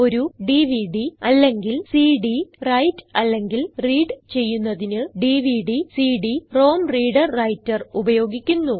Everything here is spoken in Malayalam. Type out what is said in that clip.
ഒരു ഡിവിഡി അല്ലെങ്കിൽ സിഡി റൈറ്റ് അല്ലെങ്കിൽ റീഡ് ചെയ്യുന്നതിന് dvdcd റോം reader വ്രൈട്ടർ ഉപയോഗിക്കുന്നു